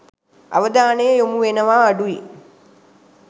අවධානය යොමුවනවා අඩුයි.